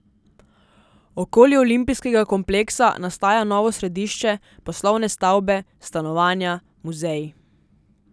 Okoli olimpijskega kompleksa nastaja novo središče, poslovne stavbe, stanovanja, muzeji.